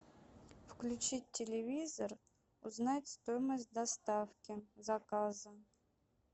включить телевизор узнать стоимость доставки заказа